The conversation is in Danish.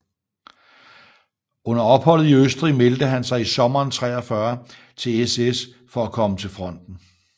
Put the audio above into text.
Under opholdet i Østrig meldte han sig i sommeren 1943 til SS for at komme til fronten